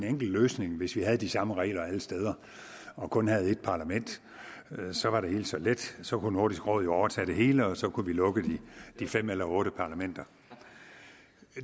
enkel løsning hvis vi havde de samme regler alle steder og kun havde et parlament så var det hele så let så kunne nordisk råd jo overtage det hele og så kunne vi lukke de fem eller otte parlamenter